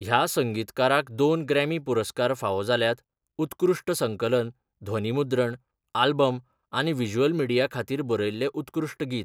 ह्या संगीतकाराक दोन ग्रॅमी पुरस्कार फावो जाल्यात उत्कृश्ट संकलन ध्वनीमुद्रण आल्बम आनी व्हिज्युअल मिडिया खातीर बरयल्लें उत्कृश्ट गीत.